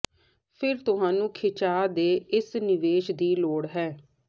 ਫਿਰ ਤੁਹਾਨੂੰ ਖਿਚਾਅ ਦੇ ਇਸ ਨਿਵੇਸ਼ ਦੀ ਲੋੜ ਹੈ